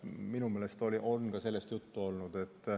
Minu meelest on sellest juttu olnud.